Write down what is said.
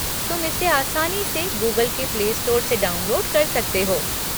तुम इसे आसानी से गूगल के प्लेस्टोर से डाउनलोड कर सकते हो।